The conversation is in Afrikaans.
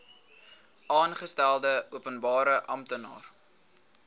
aangestelde openbare amptenaar